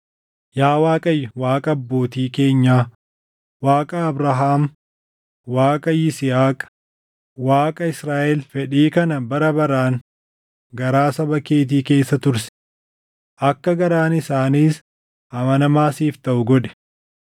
Yaa Waaqayyo Waaqa abbootii keenyaa, Waaqa Abrahaam, Waaqa Yisihaaq, Waaqa Israaʼel fedhii kana bara baraan garaa saba keetii keessa tursi; akka garaan isaaniis amanamaa siif taʼu godhi.